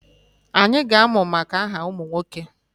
Anyị ga-amụ maka aha ụmụ nwoke